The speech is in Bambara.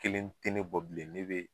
Kelen te ne ne bɔ bilen ne be